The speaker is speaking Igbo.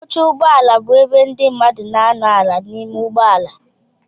Oche ụgbọala bụ ebe ndị mmadụ na anọ ala n'ime ụgbọala.